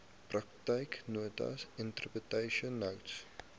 praktyknotas interpretation notes